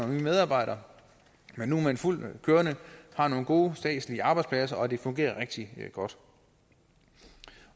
medarbejdere men nu er man fuldt ud kørende og har nogle gode statslige arbejdspladser og det fungerer rigtig godt